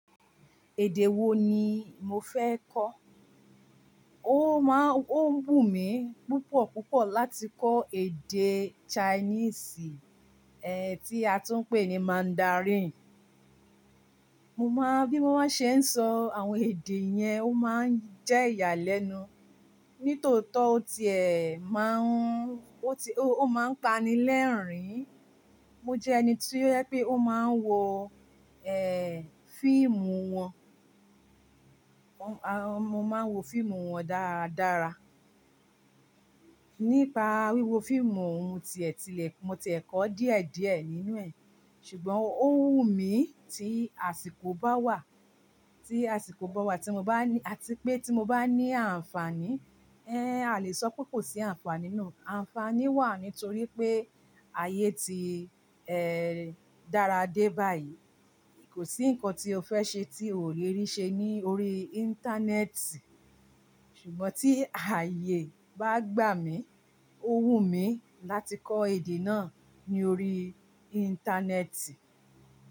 Èdè wo ni mo fẹ́ kọ́? Ó máa ń, ó ń wù mí púpọ̀ púpọ̀ láti kọ èdè Chinese, ẹ́ tí a tún ń pè ní Mandarin. Mo máa, bí mo bá ṣe ń sọ àwọn èdè yẹn, ó máa ń jẹ́ ìyàlẹ́nu. Nítòótọ́ o tiẹ máa ń, ó ti, ó máa ń pani lẹ́ẹ̀rín-ín. Mo jẹ́ ẹni tí ó fẹ́ pé ó máa ń wo ẹ́ fíìmù wọn. Mo máa ń wo fíìmù wọn dára dára. Nípa wíwo fíìmù òun tiẹ̀ tí lẹ̀, mo ti è kó díẹ̀ díẹ̀ nínú ẹ̀. Ṣùgbọ́n ó wù mí tí àsìkò bá wà, tí àsìkò bá wà tí mo bá ní, àti pé tí mo bá ní àǹfààní. Ẹ́n a lè sọ pé kò sí àǹfààní náà. Àǹfààní wà nítorí pé ayé ti ẹ́ dára dé báyìí. Kò sí nǹkan tí o fẹ́ ṣe tí o ò lè rí ṣe lórí Íńtánẹ́ẹ̀tì. Ṣùgbọ́n tí ayé bá gbà mí, ó wù mí láti kọ èdè náà lórí Íńtánẹ́ẹ̀tì.